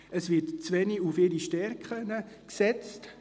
Es wird zu wenig auf deren Stärken gesetzt.